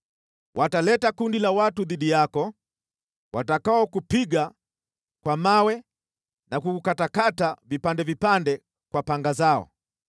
Wataleta kundi la watu dhidi yako, watakaokupiga kwa mawe na kukukatakata vipande vipande kwa panga zao.